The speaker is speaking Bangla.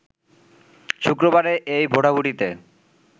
শুক্রবারের এই ভোটাভুটিতে